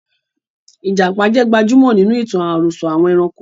Ìjàpá jẹ́ gbajúmọ̀ nínú itan àròsọ̀ àwọn ẹranko